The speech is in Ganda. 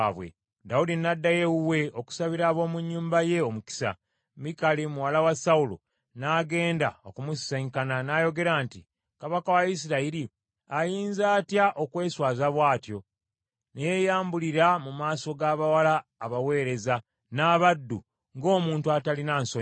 Dawudi n’addayo ewuwe okusabira ab’omu nnyumba ye omukisa, Mikali muwala wa Sawulo n’agenda okumusisinkana n’ayogera nti, “Kabaka wa Isirayiri ayinza atya okweswaza bw’atyo, ne yeyambulira mu maaso g’abawala abaweereza n’abaddu ng’omuntu atalina nsonyi?”